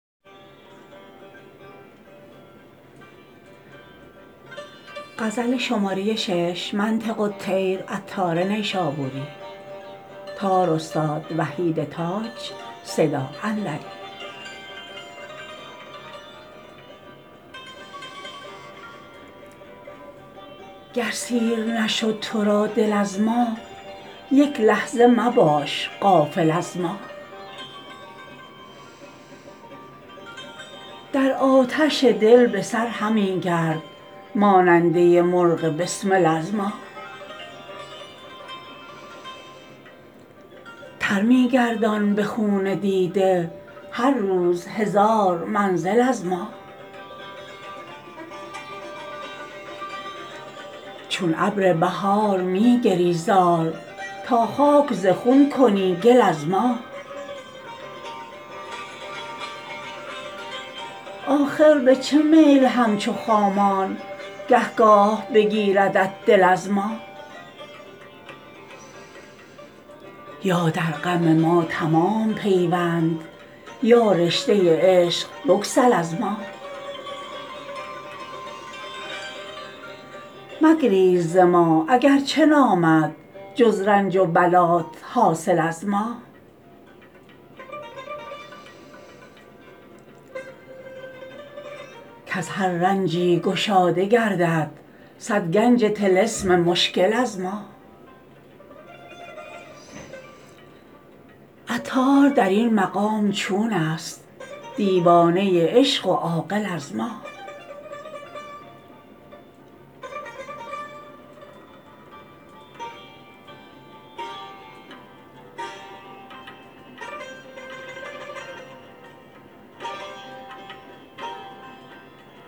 گر سیر نشد تو را دل از ما یک لحظه مباش غافل از ما در آتش دل بسر همی گرد ماننده مرغ بسمل از ما تر می گردان به خون دیده هر روز هزار منزل از ما چون ابر بهار می گری زار تا خاک ز خون کنی گل از ما آخر به چه میل همچو خامان گه گاه بگیردت دل از ما یا در غم ما تمام پیوند یا رشته عشق بگسل از ما مگریز ز ما اگرچه نامد جز رنج و بلات حاصل از ما کز هر رنجی گشاده گردد صد گنج طلسم مشکل از ما عطار در این مقام چون است دیوانه عشق و عاقل از ما